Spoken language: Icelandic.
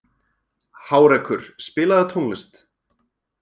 Hárekur, spilaðu tónlist.